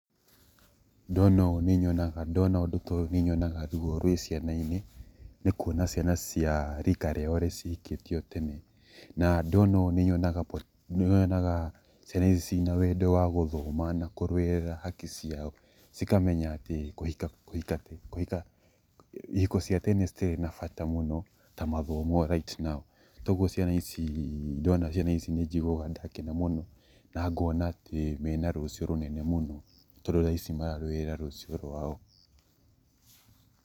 Ndona ũũ nĩnyonaga, ndona ũndũ ta ũyũ nĩ nyonaga ruo rwĩna ciana-inĩ, nĩ kuona ciana cia rika rĩao cihikĩtio tene, na ndona ũndũ ũyũ nĩ nyonaga ciana ici ciĩ na wendo wa gũthoma na kũrũirĩra haki ciao, cikamenya atĩ, kũhika kũhika kũhika, ihiko cia tene citirĩ na bata mũno ta mathomo right now Toguo ciana ici, ndona ciana ici nĩ njiguaga ndakena mũno na ngona ciĩ na rũcio rũnene mũno tondũ thaa ici mararũĩrĩra rũciũ rwao.